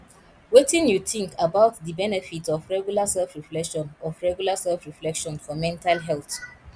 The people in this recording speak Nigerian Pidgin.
wetin you think about di benefits of regular selfreflection of regular selfreflection for mental health